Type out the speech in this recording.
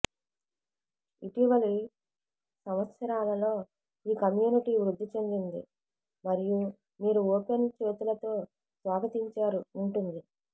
ఇటీవలి సంవత్సరాలలో ఈ కమ్యూనిటీ వృద్ధి చెందింది మరియు మీరు ఓపెన్ చేతులతో స్వాగతించారు ఉంటుంది